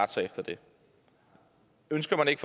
sig efter det ønsker man ikke